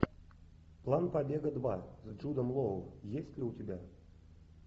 план побега два с джудом лоу есть ли у тебя